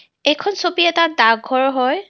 এইখন ছবি এটা ডাকঘৰৰ হয.